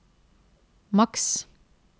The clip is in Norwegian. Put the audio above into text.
maks